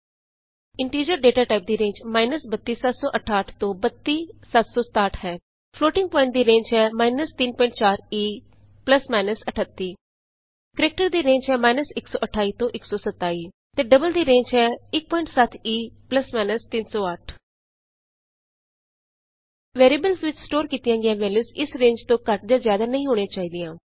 integer data type ਦੀ range 32768 ਤੋਂ 32767 ਹੈ ਫਲੋਟਿੰਗ ਪੋਆਇੰਟ ਦੀ ਰੇਂਜ ਹੈ 34 E 38 ਕਰੈਕਟਰ ਦੀ ਰੇਂਜ ਹੈ 128 ਤੋਂ 127 ਅਤੇ ਡਬਲ ਦੀ ਰੇਂਜ ਹੈ 17 E 308 ਵੈਰੀਐਬਲ ਵਿਚ ਸਟੋਰ ਕੀਤੀਆਂ ਗਈਆਂ ਵੈਲੂਯਸ ਇਸ ਰੇਂਜ ਤੋਂ ਘੱਟ ਜਾਂ ਜਿਆਦਾ ਨਹੀਂ ਹੋਣੀ ਚਾਹੀਦੀ